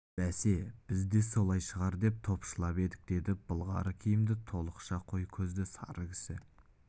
бәсе біз де солай шығар деп топшылап едік деді былғары киімді толықша қой көзді сары кісі